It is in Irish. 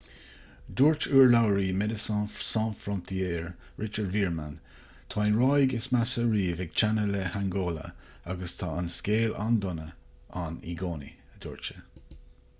dúirt urlabhraí medecines sans frontiere richard veerman tá an ráig is measa riamh ag teannadh le hangóla agus tá an scéal an-dona ann i gcónaí a dúirt sé